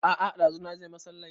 A'a ɗazu naje masallai